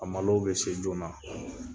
A malow bɛ se joona